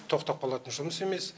тоқтап қалатын жұмыс емес